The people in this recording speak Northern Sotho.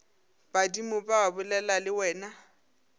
badimo ba bolela le wena